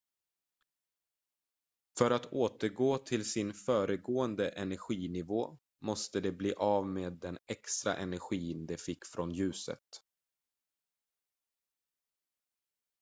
för att återgå till sin föregående energinivå måste de bli av med den extra energin de fick från ljuset